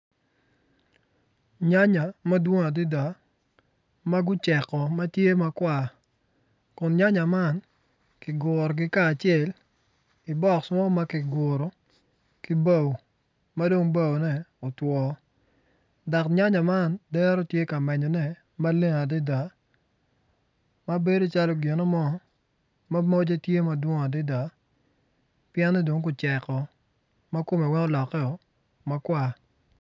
Nyanya madwong adida ma guceko ma tye makwar kun nyanya man ki gurogi kacel i bok mo ma ki guru ki bao ma dong baone otwo dok nyanya man dero tye ka menyone maleng adida ma bedo calo gino mo ma mocce tye ma dwong adida pien ni dong guceko ma kumme weny olokkeo makwar